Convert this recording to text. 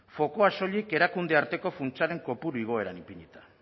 fokua soilik erakunde arteko funtsaren kopuru igoeran ipinita